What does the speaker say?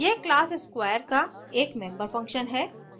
यह class square का एक member function है